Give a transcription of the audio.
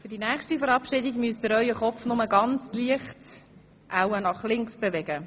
Für die nächste Verabschiedung müssen Sie Ihre Köpfe nur leicht, wahrscheinlich nach links, bewegen.